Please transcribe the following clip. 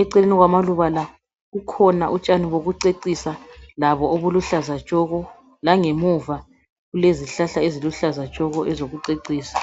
Eceleni kwamaluba la kukhona utshani bokucecisa labo obuluhlaza tshoko langemuva kulezihlahla eziluhlaza tshoko ezokucecisa .